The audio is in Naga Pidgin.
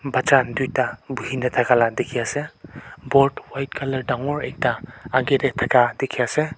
bacha tuita buhina thaka laka dikhi ase board white colour dangor ekta akae tae thaka dikhiase.